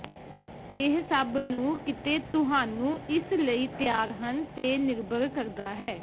ਇਹ ਸਭ ਨੂੰ ਕਿਤੇ ਤੁਹਾਨੂੰ ਇਸ ਲਈ ਤਿਆਰ ਹਨ ਤੇ ਨਿਰਭਰ ਕਰਦਾ ਹੈ